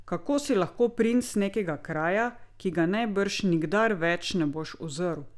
Kako si lahko princ nekega kraja, ki ga najbrž nikdar več ne boš uzrl?